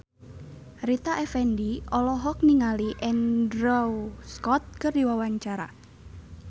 Rita Effendy olohok ningali Andrew Scott keur diwawancara